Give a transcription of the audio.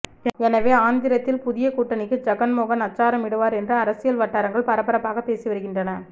எனவே ஆந்திரத்தில் புதிய கூட்டணிக்கு ஜகன்மோகன் அச்சாரம் இடுவார் என்று அரசியல் வட்டாரங்கள் பரபரப்பாகப் பேசி வருகின்றன